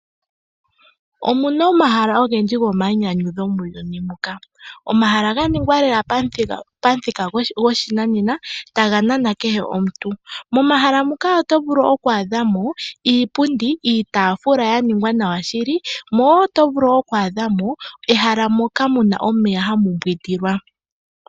Omuna omahala ogendji gomainyanyudho muuyuni muka. Omahala ga ningwa lela pamuthika goshinanena taga nana kehe omuntu. Momahala muka oto vulu okwaadha mo iipundi, iitaafula ya ningwa nawa shili mo oto vulu okwaadhamo ehala moka muna omeya hamu yogelwa.